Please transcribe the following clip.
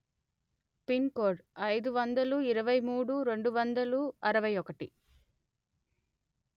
pin code అయిదు వందలు ఇరవై మూడు రెండు వందలు అరవై ఒకటి